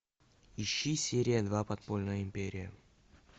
ищи серия два подпольная империя